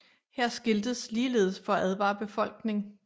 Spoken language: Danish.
Her skiltes ligeledes for at advare befolkning